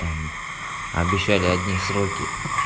там обещали одни сроки